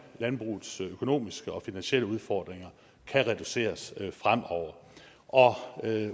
landbrugets økonomiske og finansielle udfordringer kan reduceres fremover